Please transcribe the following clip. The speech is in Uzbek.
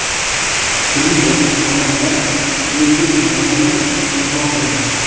Shuningdek, xonanda o‘zbek noni bilan mehmon qilindi.